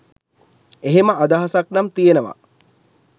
එහෙම අදහසක් නම් තියෙනවා.